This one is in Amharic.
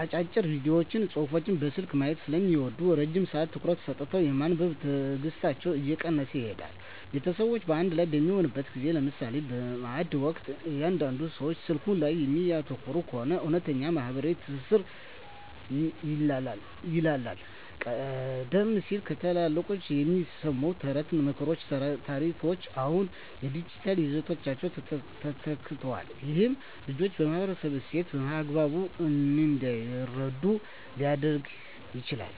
አጫጭር ቪዲዮዎችንና ጽሑፎችን በስልክ ማየት ስለሚለምዱ፣ ረጅም ሰዓት ትኩረት ሰጥቶ የማንበብ ትዕግሥታቸው እየቀነሰ ይሄዳል። ቤተሰብ በአንድ ላይ በሚሆንበት ጊዜ (ለምሳሌ በማዕድ ወቅት) እያንዳንዱ ሰው ስልኩ ላይ የሚያተኩር ከሆነ፣ እውነተኛው ማኅበራዊ ትስስር ይላላል። ቀደም ሲል ከታላላቆች የሚሰሙ ተረቶች፣ ምክሮችና ታሪኮች አሁን በዲጂታል ይዘቶች ተተክተዋል። ይህም ልጆች የማኅበረሰባቸውን እሴት በአግባቡ እንዳይረዱ ሊያደርግ ይችላል።